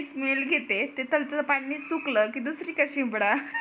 घेते तिथं तिथं पाणी सुकला की दुसरीकडे शिंपडा